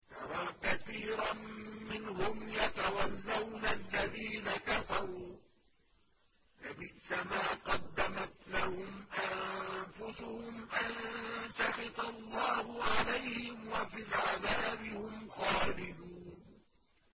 تَرَىٰ كَثِيرًا مِّنْهُمْ يَتَوَلَّوْنَ الَّذِينَ كَفَرُوا ۚ لَبِئْسَ مَا قَدَّمَتْ لَهُمْ أَنفُسُهُمْ أَن سَخِطَ اللَّهُ عَلَيْهِمْ وَفِي الْعَذَابِ هُمْ خَالِدُونَ